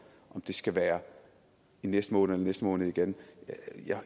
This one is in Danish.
det skal være i næste måned eller i næste måned igen